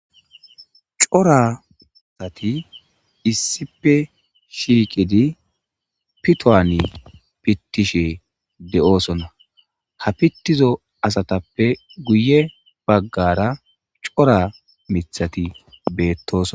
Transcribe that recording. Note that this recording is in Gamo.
cora asati issipe shiiqidi pitowani pittishe de7oosona ha pittizo asatappe guye baggara cora mithati beettoson